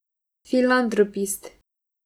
Filantropist.